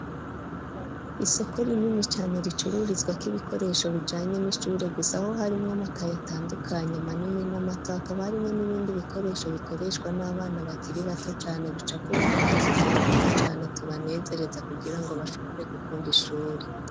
Isoko rinini cane ricururizwa k'ibikoresho bijanye n'ishure gusa ho harimwo makaye atandukanye manini n'amato akaba arimwo n'ibindi bikoresho bikoreshwa n'abana bakiri bato cyane bicapurwe ko'idushusho twiza cyane tubanezereza kugira ngo bashobore gukunda ishure.